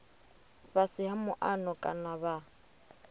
fhasi ha muano kana vha